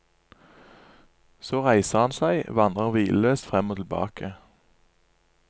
Så reiser han seg, vandrer hvileløst frem og tilbake.